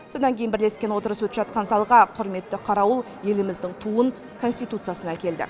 содан кейін бірлескен отырыс өтіп жатқан залға құрметті қарауыл еліміздің туын конституциясын әкелді